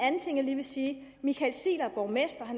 en ting jeg lige vil sige michael ziegler er borgmester